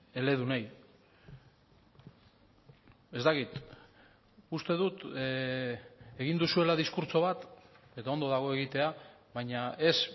eledunei ez dakit uste dut egin duzuela diskurtso bat eta ondo dago egitea baina ez